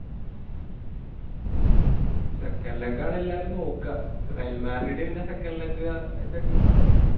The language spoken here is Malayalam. second leg ആണ് എല്ലാരും നോക്കാ റയൽ മാഡ്രിഡ് പിന്നെ second leg ൻ്റെ team ആണല്ലോ